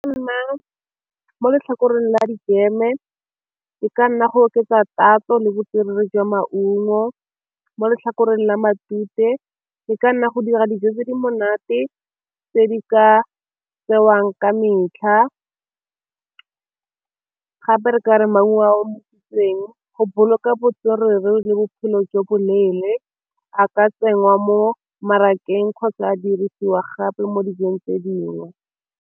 Nna mo letlhakoreng le a di-jam-e e ka nna go oketsa tatso le botswerere jwa maungo, mo letlhakoreng la matute e ka nna go dira dijo tse di monate tse di ka tsewang ka metlha, gape re ka re maungo a omisitsweng go boloka botswerere le bophelo jo bo leele a ka tsenngwa mo mmarakeng kgotsa a dirisiwa gape mo dijong tse dingwe.